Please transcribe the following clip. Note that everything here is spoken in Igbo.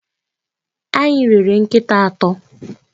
Anyị rere nkịta atọ.